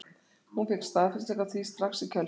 Hún fékk staðfestingu á því strax í kjölfarið.